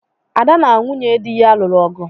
Ada na nwunye di ya lụrụ ọgu